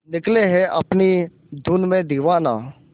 निकले है अपनी धुन में दीवाना